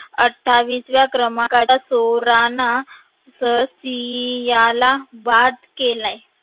अत्ठावीसव्या क्रमांकावर चोरण ससीयला वाद केला.